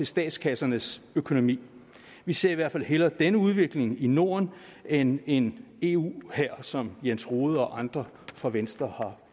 statskassernes økonomi vi ser i hvert fald hellere denne udvikling i norden end en eu hær som jens rohde og andre fra venstre